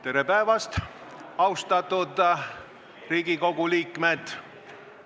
Tere päevast, austatud Riigikogu liikmed!